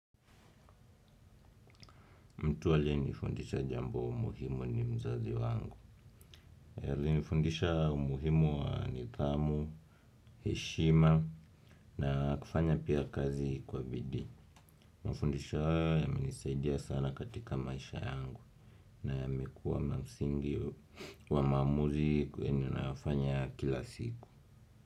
Mtu aliye nifundisha jambo muhimu ni mzazi wangu. Alinifundisha umuhimu wa nidhamu, heshima na kufanya pia kazi kwa bidii. Mafundisho hayo yamenisaidia sana katika maisha yangu na yamekuwa mamsingi wa maamuzi kwenye nafanya kila siku.